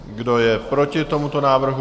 Kdo je proti tomuto návrhu?